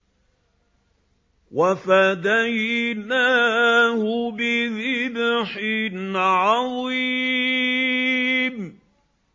وَفَدَيْنَاهُ بِذِبْحٍ عَظِيمٍ